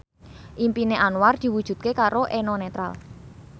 impine Anwar diwujudke karo Eno Netral